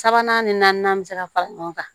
Sabanan ni naaninan bɛ se ka fara ɲɔgɔn kan